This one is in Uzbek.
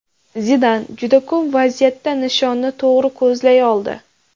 Zidan juda ko‘p vaziyatda nishonni to‘g‘ri ko‘zlay oldi.